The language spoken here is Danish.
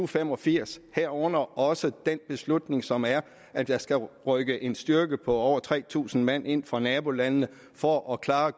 fem og firs herunder også den beslutning som er at der skal rykke en styrke på over tre tusind mand ind fra nabolandene for at klare